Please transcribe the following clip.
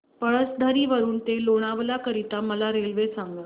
पळसधरी वरून ते लोणावळा करीता मला रेल्वे सांगा